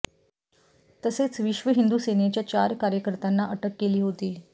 तसेच विश्व हिंदू सेनेच्या चार कार्यकर्त्यांना अटक केली होती